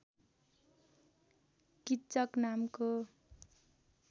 किच्चक नामको